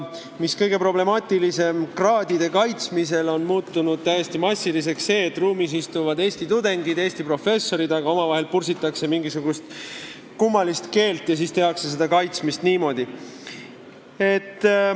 Kõige problemaatilisem on see, et kraadide kaitsmisel on muutunud täiesti massiliseks see, et ruumis istuvad eesti tudengid ja eesti professorid, aga omavahel pursitakse mingisugust kummalist keelt ja tehakse seda kaitsmist niimoodi.